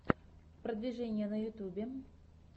продвижение на ютубе